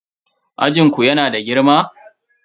Ajin ku yana da girma?